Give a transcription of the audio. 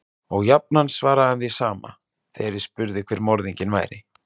Og jafnan svaraði hann því sama, þegar ég spurði hver morðinginn væri.